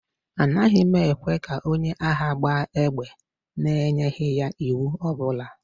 A naghị ekwe ka onye agha gbaa égbè n'enyeghị ya iwu ọ bụla